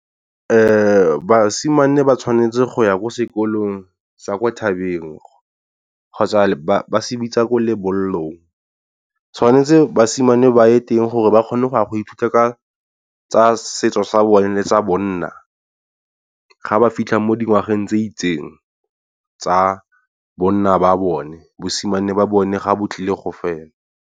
Basimane ba tshwanetse go ya ko sekolong sa kwa thabeng kgotsa ba se bitsa ko lebollong, tshwanetse basimane ba ye teng gore ba kgone go a go ithuta ka tsa setso sa bone le sa bonna. Ga ba fitlha mo dingwageng tse itseng tsa bonna ba bone bosimane ba bone ga bo tlile go fela.